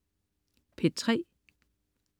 P3: